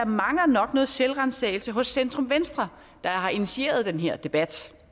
mangler noget selvransagelse hos centrum venstre der har initieret den her debat